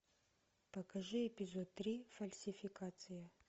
покажи эпизод три фальсификация